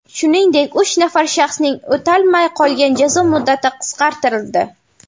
Shuningdek, uch nafar shaxsning o‘talmay qolgan jazo muddati qisqartirildi.